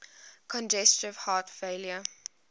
congestive heart failure